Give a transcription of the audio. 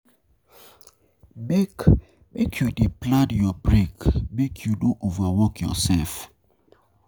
Make Make you dey plan your break, make you no over work yoursef.